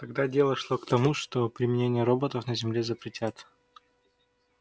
тогда дело шло к тому что применение роботов на земле запретят